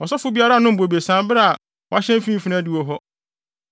Ɔsɔfo biara nnom bobesa bere a wahyɛn mfimfini adiwo hɔ.